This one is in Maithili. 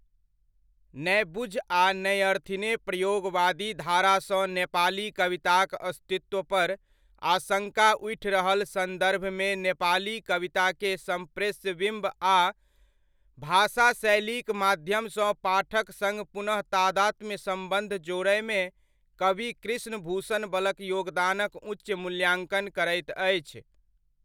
नैबुझ आ नैअर्थिने प्रयोगवादी धारासँ नेपाली कविताक अस्तित्वपर आशङ्का उठि रहल सन्दर्भमे नेपाली कविताके सम्प्रेष्य विम्ब आ भाषाशैलीक माध्यमसँ पाठक सङ्ग पुनः तादात्म्य सम्बन्ध जोड्नमे कवि कृष्णभूषण बलक योगदानक उच्च मूल्याङ्कन करैत अछि।